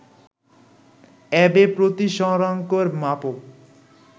Abe প্রতিসরাংকের মাপক